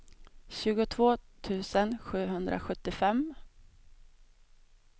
tjugotvå tusen sjuhundrasjuttiofem